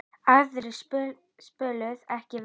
Aðrir spiluðu ekki vel.